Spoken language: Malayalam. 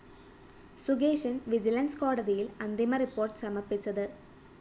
സുകേശന്‍ വിജിലൻസ്‌ കോടതിയില്‍ അന്തിമ റിപ്പോർട്ട്‌ സമര്‍പ്പിച്ചത്